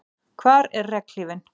Hvar er regnhlífin?